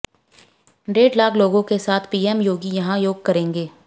डेढ़ लाख लोगों के साथ पीएम योगी यहां योग करेंगे